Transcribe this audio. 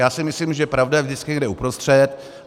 Já si myslím, že pravda je vždycky někde uprostřed.